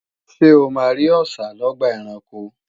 Ṣé o máa rí Ọṣà lọ́gbà ẹranko?